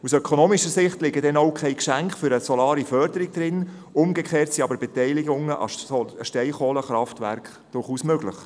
Aus ökonomischer Sicht liegen denn auch keine Geschenke für eine solare Förderung drin, umgekehrt sind aber Beteiligungen an Steinkohlekraftwerke durchaus möglich.